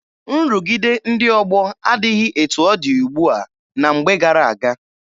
Nrụgide ndị ọgbọ adịghị etu ọ dị ugbua na mgbe gara aga.